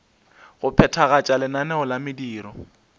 go phethagatša lenaneo la mediro